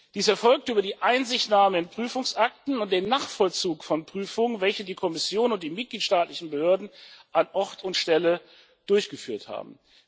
Dies erfolgt über die Einsichtnahme in Prüfungsakten und den Nachvollzug von Prüfungen, welche die Kommission und die mitgliedstaatlichen Behörden an Ort und Stelle durchgeführt haben.